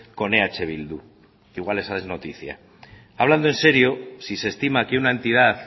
con eh bildu que igual esa es noticia hablando en serio si se estima que una entidad